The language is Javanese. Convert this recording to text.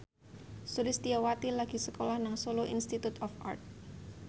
Sulistyowati lagi sekolah nang Solo Institute of Art